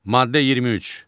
Maddə 23.